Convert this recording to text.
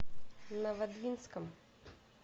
новодвинском